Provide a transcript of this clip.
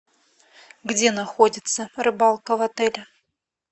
где находится рыбалка в отеле